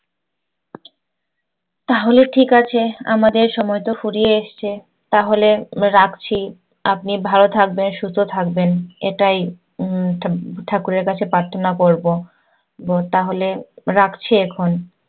তাহলে ঠিক আছে। আমাদের সময় তো ফুরিয়ে এসছে। তাহলে রাখছি। আপনি ভালো থাকবেন, সুস্থ থাকবেন এটাই উম ঠা~ ঠাকুরের কাছে প্রার্থনা করবো। তাহলে রাখছি এখন।